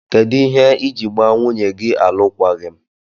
Kedu ihe iji gba nwunye gi alụkwaghim?